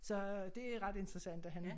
Så det er ret interessant at han